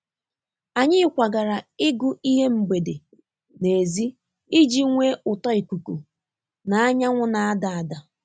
Anyị kwagara ịgụ ihe mgbede n'èzí iji nwee ụtọ ikuku na anyanwụ na-ada ada.